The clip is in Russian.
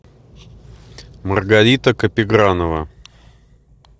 маргарита капигранова